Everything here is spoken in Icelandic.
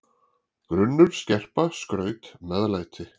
grunnur, skerpa, skraut, meðlæti.